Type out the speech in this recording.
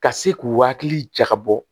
Ka se k'u hakili jagabɔ